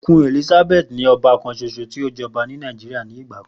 Queen Elizabeth ni ọba kanṣoṣo ti o jọba Nàìjíríà nigba kan.